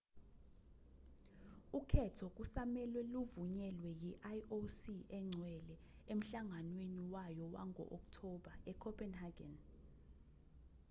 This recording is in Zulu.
ukhetho kusamelwe luvunyelwe yi-ioc engcwele emhlanganweni wayo wango-okthoba ecopenhagen